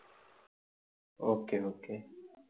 okay okay